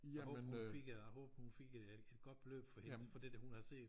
Jeg håber hun fik øh jeg håber hun fik øh et godt beløb for det der hun havde set